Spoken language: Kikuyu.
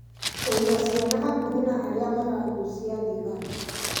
Kũiga ciana hakuhĩ na arĩa maragucia thigara